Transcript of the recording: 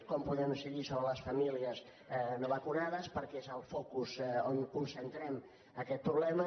com podem incidir sobre les famílies no vacunades perquè és el focus on concentrem aquest problema